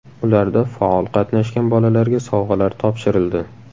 Ularda faol qatnashgan bolalarga sovg‘alar topshirildi.